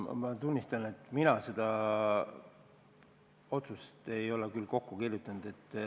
Ma tunnistan, et mina ei ole seda otsust kokku kirjutanud.